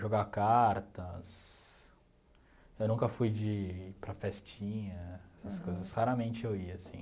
Jogar cartas, eu nunca fui de ir para festinha, essas coisas, raramente eu ia, assim.